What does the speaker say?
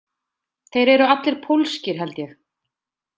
Þeir eru allir pólskir, held ég.